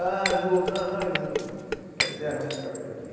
Ah eu vou, não, não, eu hum quero ideia não, vou ficar por aqui.